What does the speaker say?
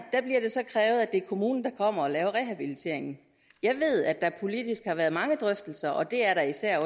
det er kommunen der kommer og laver rehabiliteringen jeg ved at der politisk har været mange drøftelser og det er der især